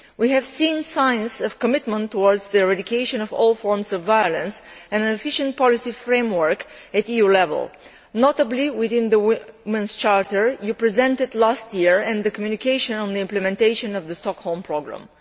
We have seen signs of commitment towards the eradication of all forms of violence and an efficient policy framework at EU level, notably within the Women's Charter which you presented last year, and the communication on the implementation of the Stockholm Programme.